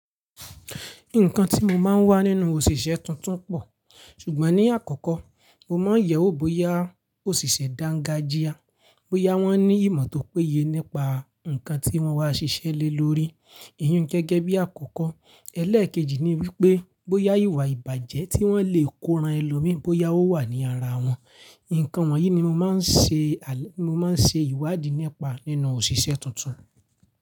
Nǹkan tí mo máa ń wá nínú òṣìṣẹ́ tuntun pọ̀. Ṣùgbọ́n ní àkọ́kọ́ mo máa ń yẹ̀ wò bóyá òṣìṣẹ́ dangajia, bóyá wọ́n ní ìmọ̀ tó péye nípa nǹkan tí wọ́n wá ṣiṣẹ́ lé lórí. Èyí ń gẹ́gẹ́ bí àkọ́kọ́. Ẹlẹ́èkejì ni wípé bóyá ìwà ìbàjẹ́ tí wọ́n lè kó ran ẹlòmíí bóyá ó wà ní ara wọn. Ìǹkan wọ̀nyí ni mo máa ṣe ni mo máa ń ṣe ìwádìí nípa nínú òṣìṣẹ́ tuntun.